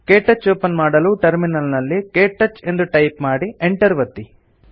ಕೆಟಚ್ open ಮಾಡಲು terminal ನಲ್ಲಿ ktouch ಎಂದು ಟೈಪ್ ಮಾಡಿ Enter ಒತ್ತಿ